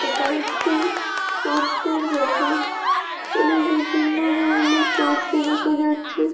এটা একটি সবজির দোকান এখানে বিভিন্ন ধরনের সবজি দেখা যাচ্ছে।